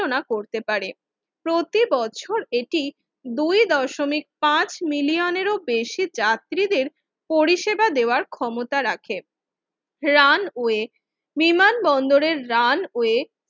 বিবেচনা করতে পারে প্রতিবছর এটি দুই দশমিক পাঁচ মিলিয়ন এর বেশি যাত্রীদের পরিষেবা দেওয়ার ক্ষমতা রাখে রানওয়ে বিমানবন্দরের রানওয়ে